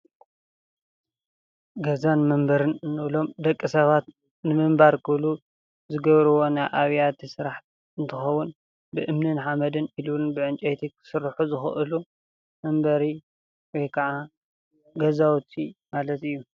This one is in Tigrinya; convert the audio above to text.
ገዛን መንበርን እንብሎም ደቂ ሰባት ንምንባር ክብሉ ዝገብርዎ ናይ ኣብያተ ስራሕ እንትከውን ብእምንን ሓመድን ኢሉውን ዕንጨይትን ክስርሑ ዝክእሉ መንበሪ ወይክዓ ገዛውቲ ማለት እዩ፡፡